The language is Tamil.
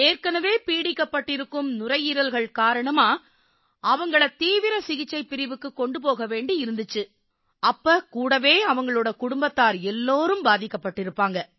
ஏற்கெனவே பீடிக்கப்பட்டிருக்கும் நுரையீரல்கள் காரணமா அவங்களை தீவிர சிகிச்சைப் பிரிவுக்குக் கொண்டு போக வேண்டி இருந்திச்சு அப்ப கூடவே அவங்களோட குடும்பத்தார் எல்லாரும் பாதிக்கப்பட்டிருப்பாங்க